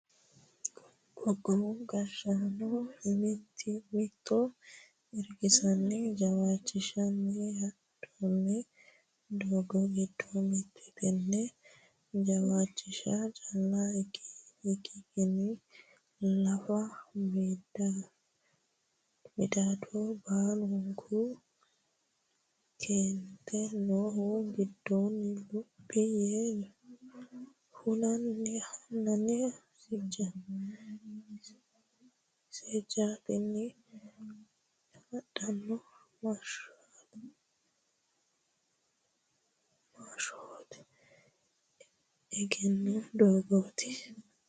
Qoqqowu gashshaano mimmitto irkisanni jawaachishanni hadhanno doogo giddo mite teneti, jawaachisha calla ikkikkini laafa midado baaluha keente noohu giddoni luphi yee huniha seejjittani hadhano massahote egenno doogoti.